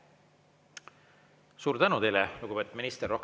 Suur tänu teile, lugupeetud minister!